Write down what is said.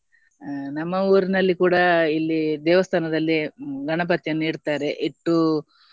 ಅಹ್ ನಮ್ಮ ಊರಿನಲ್ಲಿ ಕೂಡ ಇಲ್ಲಿ ದೇವಸ್ತಾನದಲ್ಲಿ ಗಣಪತಿಯನ್ನು ಇಡ್ತಾರೆ ಇಟ್ಟು.